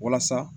Walasa